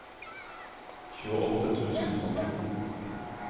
tjueåtte tusen og to